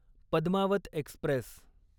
Padmaavat Express